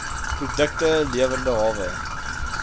produkte lewende hawe